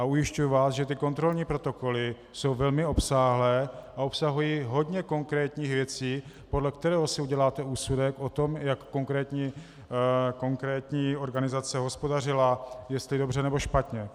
A ujišťuji vás, že ty kontrolní protokoly jsou velmi obsáhlé a obsahují hodně konkrétních věcí, podle kterých si uděláte úsudek o tom, jak konkrétní organizace hospodařila, jestli dobře, nebo špatně.